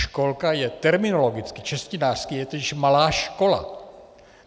Školka je terminologicky, češtinářsky je totiž malá škola.